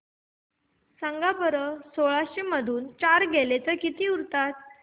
सांगा बरं सोळाशे मधून चार गेले तर किती उरतात